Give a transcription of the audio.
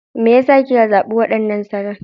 Me ya sa kika zaɓi waɗannan salon?